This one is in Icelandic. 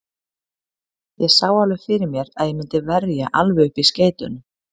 Ég sá alveg fyrir mér að ég myndi verja alveg upp í skeytunum.